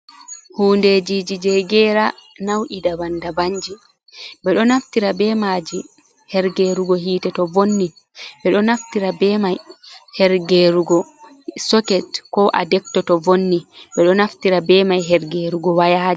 Hundejiji je geera nau’i daban-daban ji. Ɓe ɗo naftira be maaji her gerugo hiite to vonni. Ɓe ɗo naftira be mai, her gerugo soket ko adekto to vonni. Ɓe ɗo naftira be mai her gerugo wayaji.